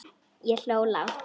Ég hló lágt.